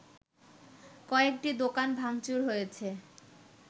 কয়েকটি দোকান ভাংচুর হয়েছে